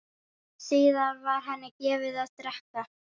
Síðan var henni gefið að drekka.